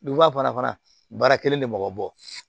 Duguba fana baara kelen de mɔgɔ bɔ